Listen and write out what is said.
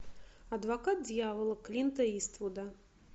адвокат дьявола клинта иствуда